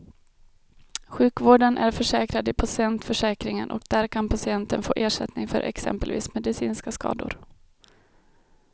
Sjukvården är försäkrad i patientförsäkringen och där kan patienten få ersättning för exempelvis medicinska skador.